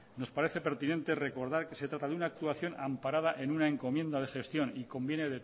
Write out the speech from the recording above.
nos parece pertinente recordar que se trata de una actuación amparada en una encomienda de gestión y conviene